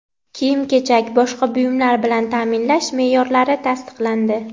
kiyim-kechak boshqa buyumlar bilan taʼminlash meʼyorlari tasdiqlandi.